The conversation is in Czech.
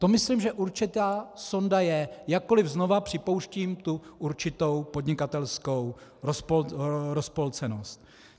To myslím, že určitá sonda je, jakkoliv znovu připouštím tu určitou podnikatelskou rozpolcenost.